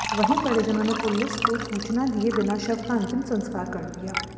वहीं परिजनों ने पुलिस को सूचना दिए बिना शव का अंतिम संस्कार कर दिया